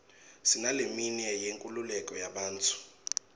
sinaleminye yenkululeko yebantfu